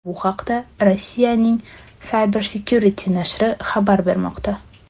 Bu haqda Rossiyaning CyberSecurity nashri xabar bermoqda.